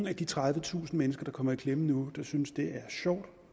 af de tredivetusind mennesker der kommer i klemme nu der synes det er sjovt